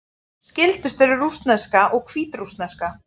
Skyldust eru rússneska og hvítrússneska.